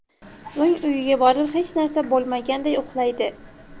So‘ng uyiga borib hech narsa bo‘lmaganday uxlaydi.